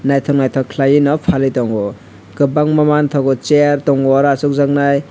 naitok naitok kelai oe no phalui tango kobangma mangtago chair tango aro asokjak nai.